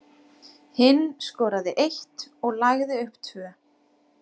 Hinn skoraði eitt og lagði upp tvö.